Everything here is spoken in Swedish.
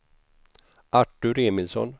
Artur Emilsson